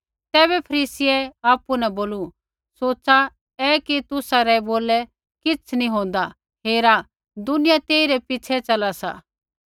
तैबै फरीसियै आपु न बोलू सोच़ा ऐ कि तुसा रै बोलै किछ़ नी होंदा हेरा दुनिया तेइरै पिछ़ै च़ला सी